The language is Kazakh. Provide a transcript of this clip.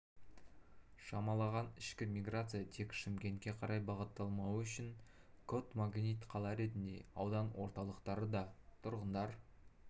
шамаланған ішкі миграция тек шымкентке қарай бағытталмауы үшін контмагнит қала ретінде аудан орталықтары да тұрғындар